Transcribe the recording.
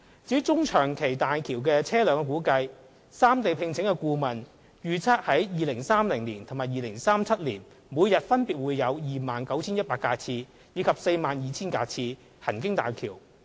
至於大橋車流量的中長期估算，三地聘請的顧問預測，於2030年及2037年每日分別會有約 29,100 架次及約 42,000 架次車輛行經大橋。